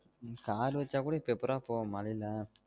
car வச்சா கூட இப்ப எப்புட்றா போவ மழயில